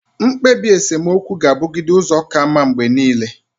Mkpebi esemokwu gabugide uzo kamma mgbe niile.